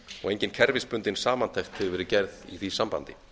og engin kerfisbundin samantekt hefur verið gerð í því sambandi